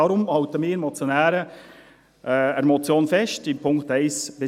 Deshalb halten wir Motionäre in den Punkten 1 bis 3 an der Motion fest.